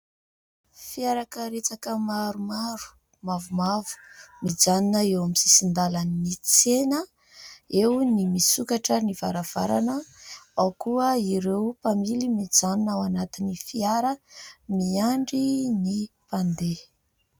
Fiara karetsaka maromaro, mavomavo, mijanona eo aminy sisin-dàlan'ny tsena. Eo ny misokatra ny varavarana, ao koa ireo mpamily mijanona ao anatin'ny fiara, miandry ny mpandeha.